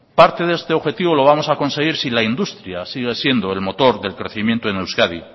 parte de este objetivo lo vamos a conseguir si la industria sigue siendo el motor del crecimiento en euskadi